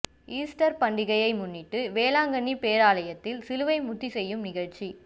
Easter பண்டிகையை முன்னிட்டு வேளாங்கண்ணி பேராலயத்தில் சிலுவை முத்தி செய்யும் நிகழ்ச்சி